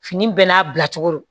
Fini bɛɛ n'a bila cogo don